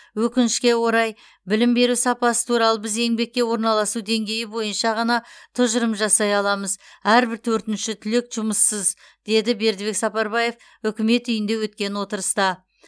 өкінішке орай білім беру сапасы туралы біз еңбекке орналасу деңгейі бойынша ғана тұжырым жасай аламыз әрбір төртінші түлек жұмыссыз деді бердібек сапарбаев үкімет үйінде өткен отырыста